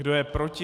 Kdo je proti?